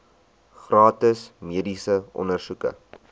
gratis mediese ondersoeke